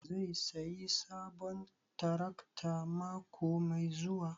Zai sayi sabon tarakta mako mai zuwa?